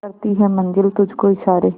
करती है मंजिल तुझ को इशारे